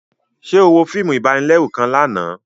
Ṣe o wo fíìmù ibanilẹru kàn lànà?